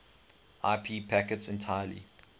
ip packets entirely